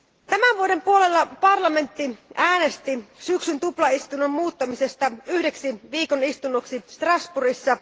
Tämän vuoden puolella parlamentti äänesti syksyn tuplaistunnon muuttamisesta yhdeksi viikon istunnoksi Strasbourgissa.